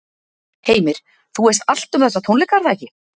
Heimir, þú veist allt um þessa tónleika, er það ekki?